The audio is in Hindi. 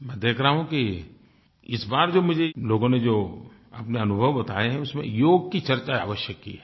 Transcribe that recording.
मैं देख रहा हूँ कि इस बार जो मुझे लोगों ने जो अपने अनुभव बताये हैं उसमें योग की चर्चा अवश्य की है